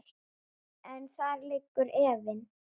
En þar liggur efinn.